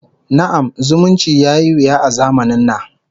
Na'am, zumunci yayi wuya a zamanin na